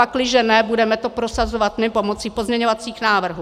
Pakliže ne, budeme to prosazovat my pomocí pozměňovacích návrhů.